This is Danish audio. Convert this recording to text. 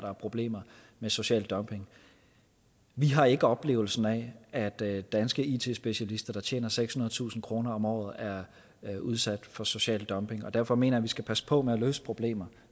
er problemer med social dumping vi har ikke oplevelsen af at danske it specialister der tjener sekshundredetusind kroner om året er udsat for social dumping derfor mener jeg vi skal passe på med at løse problemer